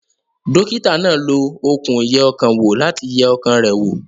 Dókítà náà lo okùn ìyẹ ọkàn wò láti yẹ ọkàn rẹ̀ wò